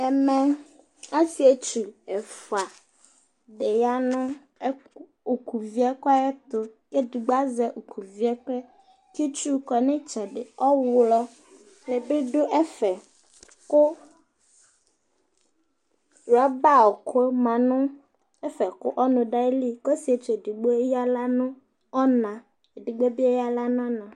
ɛmɛ asietsu ɛfua di ya no òkò vie ɛkò ayɛto k'edigbo azɛ òkò vie ɛkoɛ k'itsu kɔ n'iysɛdi ɔwlɔ di bi do ɛfɛ kò rɔba ɔkò ma no ɛfɛ kò ɔnò do ayili k'ɔsietsu edigbo eya ala no ɔna edigbo bi eya ala no ɔna